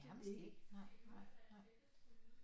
Nærmest ikke nej nej nej